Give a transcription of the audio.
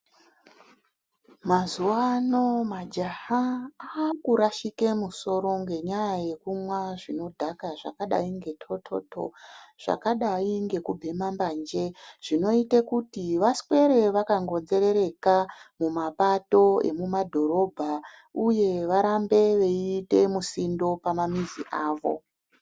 Mazuwano majaha akurashike musoro nyanyaya yekumwa zvinodhaka zvakadai ngetototo, zvakadai ngekubhema mbanje zvinoite kuti vaswere vakangonzerereka mumapato emumadhorobha uye varambe veiite misindo pamamizi avo.